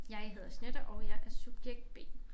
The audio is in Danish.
Jeg hedder Jeanette og jeg er subjekt B